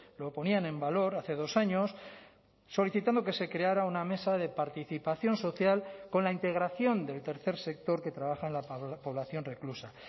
lo ponían en valor hace dos años solicitando que se creara una mesa de participación social con la integración del tercer sector que trabaja en la población reclusa